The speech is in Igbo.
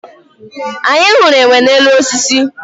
anyị hụrụ enwe n'elu osisi